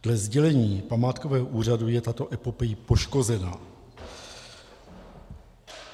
Dle sdělení památkového úřadu je tato epopej poškozena.